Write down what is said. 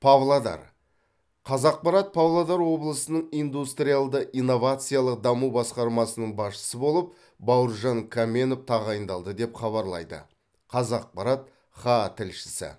павлодар қазақпарат павлодар облысының индустриалды инновациялық даму басқармасының басшысы болып бауыржан қаменов тағайындалды деп хабарлайды қазақпарат хаа тілшісі